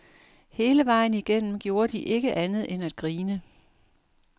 Hele vejen igennem gjorde de ikke andet end at grine.